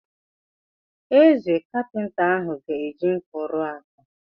Eze, kapịnta ahụ ga eji nkụ ruo ákwà.